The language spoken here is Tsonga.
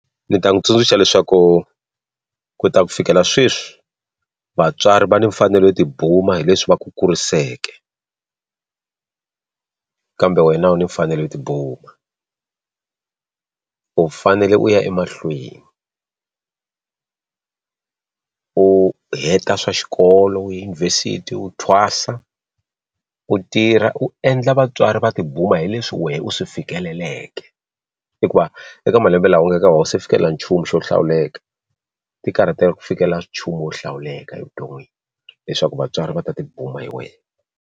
Ndzi ta n'wi tsundzuxa leswaku ku ta ku fikela sweswi vatswari va ni mfanelo yo tibuma hi leswi va ku kuriseke kambe wena u ni mfanelo yo tibuma u fanele u ya emahlweni u heta swa xikolo u edyunivhesiti u thwasa u tirha u endla vatswari va tibuma hi leswi wena u swi fikeleleki i ku va u eka malembe lawa u nga eka wa se fikelela nchumu xo hlawuleka ti karhatela ku fikelela nchumu wo hlawuleka evuton'wini leswaku vatswari va ta tibuma hi wena.